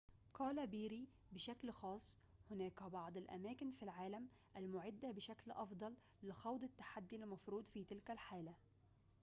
قال بيري بشكل خاص هناك بعض الأماكن في العالم المُعدة بشكل أفضل لخوض التحدي المفروض في تلك الحالة